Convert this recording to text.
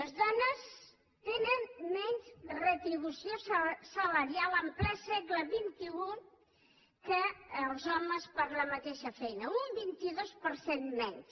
les dones tenen menys retribució salarial en ple segle xxi que els homes per la mateixa feina un vint dos per cent menys